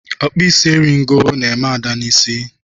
Ọkpuisi eri ego na eme Ada n'isi.